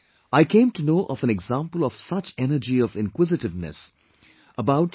I came to know of an example of such energy of inquisitiveness, about Shri T